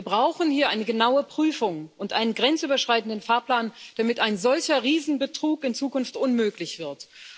Wir brauchen hier eine genaue Prüfung und einen grenzüberschreitenden Fahrplan, damit ein solcher Riesenbetrug in Zukunft unmöglich wird.